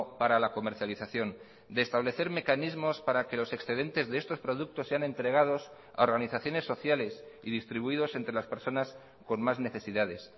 para la comercialización de establecer mecanismos para que los excedentes de estos productos sean entregados a organizaciones sociales y distribuidos entre las personas con más necesidades